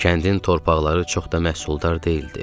Kəndin torpaqları çox da məhsuldar deyildi.